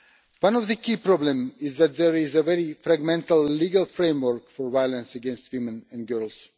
One of the key problems is that there is a very fragmented legal framework for violence against women and girls.